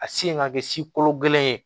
A sen ka kɛ sikolo kelen ye